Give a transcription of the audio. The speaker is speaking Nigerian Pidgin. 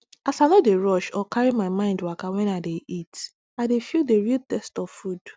as i no dey rush or carry my mind waka when i dey eat i dey feel the real taste of food